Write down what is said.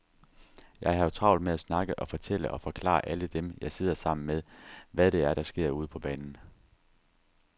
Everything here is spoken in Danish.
Jeg har jo travlt med at snakke og fortælle og forklare alle dem, jeg sidder sammen med, hvad det er, der sker ude på banen.